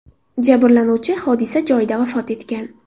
Jabrlanuvchi hodisa joyida vafot etgan.